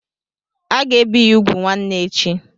Aga ebi ya úgwù nwanne echi.